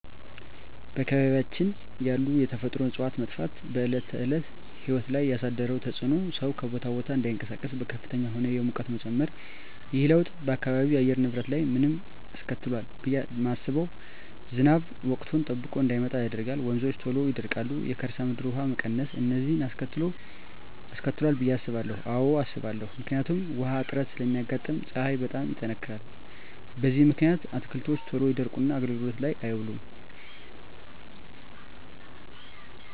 በአካባቢያችን ያሉ የተፈጥሮ እፅዋት መጥፋት በዕለት ተዕለት ሕይወት ላይ ያሣደረው ተፅኖ ሠው ከቦታ ቦታ እዳይንቀሣቀስ፤ በከፍተኛ ሁኔታ የሙቀት መጨመር። ይህ ለውጥ በአካባቢው የአየር ንብረት ላይ ምን አስከትሏል ብየ ማስበው። ዝናብ ወቅቱን ጠብቆ እዳይመጣ ያደርጋል፤ ወንዞች ቶሎ ይደርቃሉ፤ የከርሠ ምድር ውሀ መቀነስ፤ እነዚን አስከትሏል ብየ አስባለሁ። አዎ አስባለሁ። ምክንያቱም ውሀ እጥረት ስለሚያጋጥም፤ ፀሀይ በጣም ይጠነክራል። በዚህ ምክንያት አትክልቶች ቶሎ ይደርቁና አገልግሎት ላይ አይውሉም ይጠፋሉ።